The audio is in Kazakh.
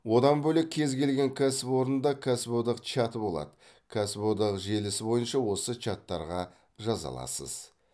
одан бөлек кез келген кәсіпорында кәсіподақ чаты болады кәсіподақ желісі бойынша осы чаттарға жаза аласыз